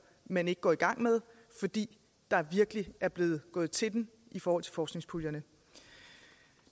man ikke går i gang med fordi der virkelig er blevet gået til den i forhold til forskningspuljerne